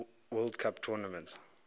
world cup tournament